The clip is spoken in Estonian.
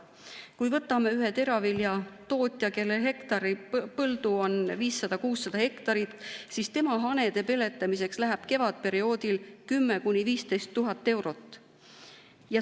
Kui võtame ühe teraviljatootja, kellel põldu on 500–600 hektarit, siis temal hanede peletamiseks läheb kevadperioodil 10 000–15 000 eurot.